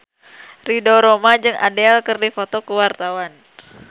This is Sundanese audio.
Ridho Roma jeung Adele keur dipoto ku wartawan